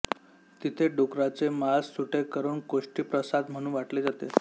तिथे डुकराचे मांस सुटे करून कोष्टीप्रसाद म्हणून वाटले जाते